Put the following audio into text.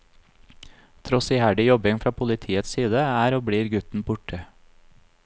Tross iherdig jobbing fra politiets side, er og blir gutten borte.